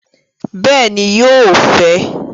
Bẹẹni, yóò fẹ